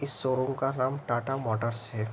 इस शोरूम का नाम टाटा मोटर्स है।